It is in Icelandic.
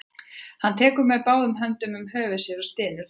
Hann tekur með báðum höndum um höfuð sér og stynur þungan.